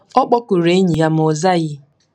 Ọ kpọkuru enyi ya, ma ọ zaghị.